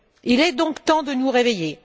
Il est donc temps de nous réveiller.